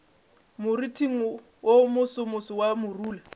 moriting wo mosomoso wa morula